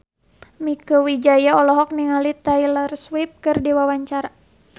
Mieke Wijaya olohok ningali Taylor Swift keur diwawancara